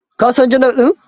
Ka San janar dinnan?